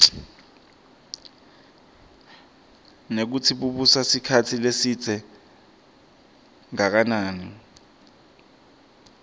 nekutsi bubusa sikhatsi lesidze kangakanani